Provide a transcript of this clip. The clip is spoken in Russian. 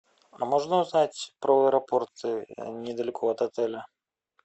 а можно узнать про аэропорт недалеко от отеля